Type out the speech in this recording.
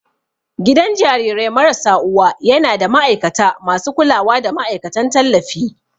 Gidan jarirai marasa uwa yana da ma'aikata masu kulawa da ma'aikatan tallafi.